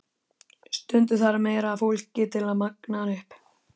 Stundum þarf meira af fólki til að magna hana upp.